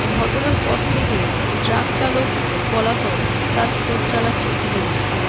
ঘটনার পর থেকে ট্রাক চালক পলাতক তার খোঁজ চালাচ্ছে পুলিশ